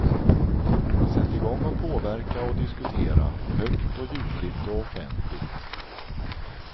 Sätt i gång att påverka och diskutera, högt och ljudligt och offenligt.